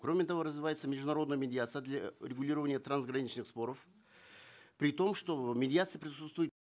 кроме того развивается международная медиация для регулирования трансграничных споров при том что медиация присутствует